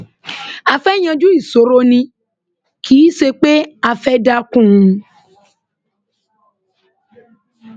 a fẹẹ yanjú ìṣòro ni kì í ṣe pé a fẹẹ dá kún un